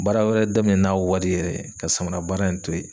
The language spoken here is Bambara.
Baara wɛrɛ daminɛ n'a wari yɛrɛ ka samara baara in to ye.